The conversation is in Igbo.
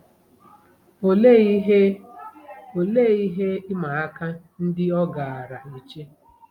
Olee ihe Olee ihe ịma aka ndị ọ gaara eche?